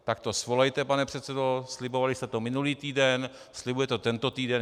Tak to svolejte, pane předsedo, slibovali jste to minulý týden, slibujete to tento týden.